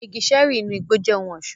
Àwọn igi ṣẹẹri inú igbó jẹ ohùn ọṣọ.